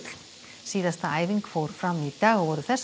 síðasta æfing fór fram í dag og voru þessar